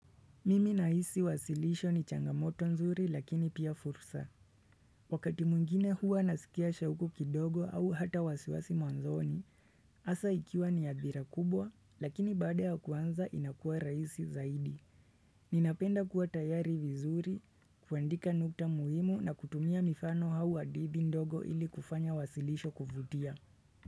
Mimi nahisi wasilisho ni changamoto nzuri lakini pia fursa. Wakati mwingine huwa nasikia shauku kidogo au hata wasiwasi mwanzoni. Hasa ikiwa ni adhira kubwa, lakini baada ya kuanza inakua rahisi zaidi. Ninapenda kuwa tayari vizuri, kuandika nukta muhimu na kutumia mifano hau hadithi ndogo ilikufanya wasilisho kuvutia.